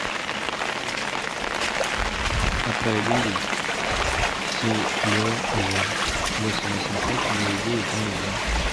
отправить деньги сереже восемь восемьсот девять девять ноль один